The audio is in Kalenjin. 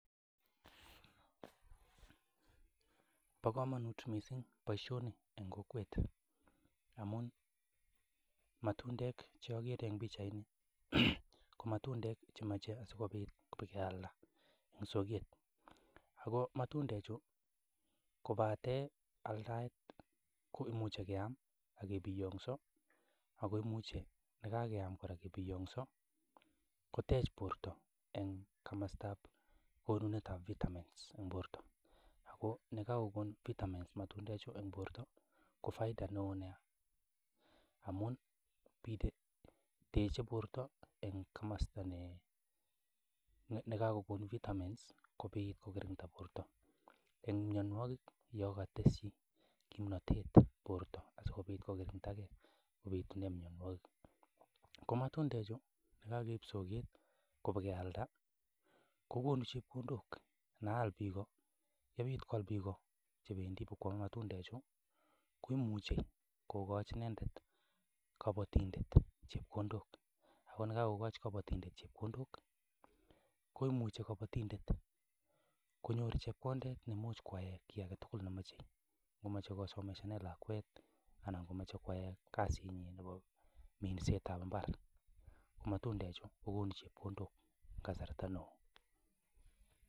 Bo komonut mising boisioni en kokwet amun matundek che ogere en pichait ko matundek chemache asikobit kebakealda en soget ago matundechu kobate aldaet komuche keam ak kebiyoso ago imuche ye kageam kora kebiongso kotech bortoen komostab konunet ab vitamins en borto. Ago ye kagokon vitamins ngalechu en borto ko faida neo nyaa amun teche borto en komosta negakokon bitamens kobit kogirinda borto mianwogik ye katesyi kimnatet borto asikobit kokirindage en mianwogik. Ko matundechu ye kageib soket kebakealda kogonu chepkondok ana all biik, ye bit koal biik chebendi kobakoame matundechu koimuche kogochi inendet kobotindet chepkondok. Ago ye kagokochi kabotindet chepkondok koimuche kabatindet konyor chepkondet neimuch koyaen kiy age tugul nemoche; ngomoche kosomesanen lakwet ana komoche koyaen kasinyin nebo minsetab mbar. Ko matundechu kogonu chepkondok kasarta neo.